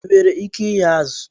I nwere ike ighe azụ?